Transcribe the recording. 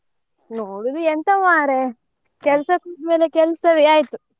ನೋಡುದು ಎಂತ ಮರ್ರೆ ಕೆಲ್ಸದ ಮೇಲೆ ಕೆಲ್ಸವೇ ಆಯ್ತು.